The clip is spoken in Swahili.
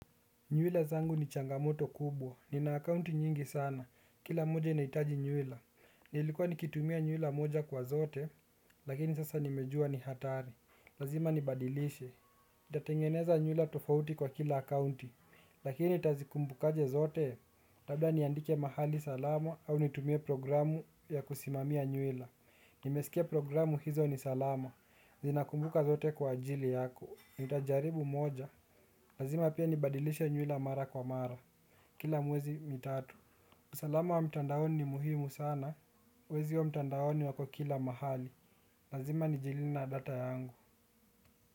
Nywila zangu ni changamoto kubwa. Nina akaunti nyingi sana. Kila moja inahitaji nywila. Nilikuwa nikitumia nywila moja kwa zote, lakini sasa nimejua ni hatari. Lazima nibadilishe. Nitatengeneza nywila tofauti kwa kila akounti, lakini nitazikumbukaje zote. Labda niandike mahali salama au nitumie programu ya kusimamia nywila. Nimesikia programu hizo ni salama. Zinakumbuka zote kwa ajili yako. Nitajaribu moja lazima pia nibadilishe nywila mara kwa mara. Kila miezi mitatu usalama wa mitandaoni ni muhimu sana. Wezi wa mtandaoni wako kila mahali lazima nijilinde na data yangu.